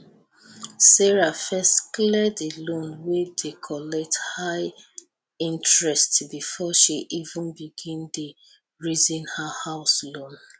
sarah first clear di loan wey dey collect high interest before she even begin dey reason her house loan